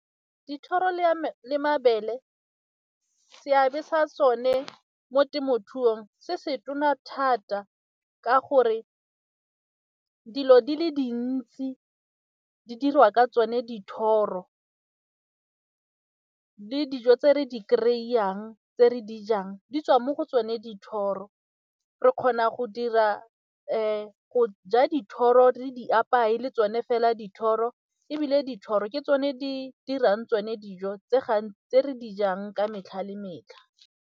Dithoro le mabele seabe sa tsone mo temothuong se se tona thata ka gore dilo di le dintsi di dirwa ka tsone dithoro, le dijo tse re di kry-ang tse re di jang di tswa mo go tsone dithoro re kgona go dira go ja dithoro re di apaye le tsone fela dithoro ebile dithoro ke tsone di dirang tsone dijo tse re dijang ka metlha le metlha.